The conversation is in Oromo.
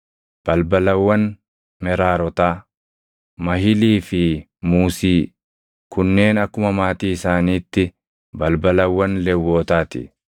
Balbalawwan Meraarotaa: Mahilii fi Muusii. Kunneen akkuma maatii isaaniitti balbalawwan Lewwotaa ti.